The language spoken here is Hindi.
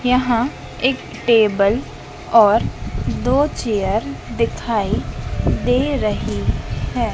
यहाँ एक टेबल और दो चेयर दिखाई दे रहीं हैं।